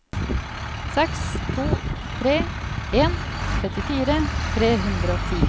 seks to tre en trettifire tre hundre og ti